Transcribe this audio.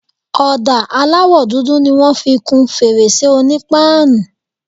Ọ̀dà aláwọ̀ dúdú ni wọ́n fi kun fèrèsé onípáànù.